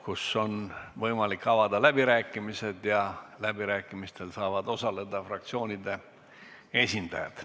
Nüüd on võimalik avada läbirääkimised ja läbirääkimistel saavad osaleda fraktsioonide esindajad.